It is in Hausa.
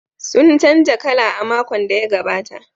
Sun canza kala a makon da ya gabata.